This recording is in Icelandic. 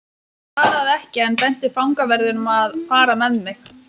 Hann svaraði ekki en benti fangaverðinum að fara með mig.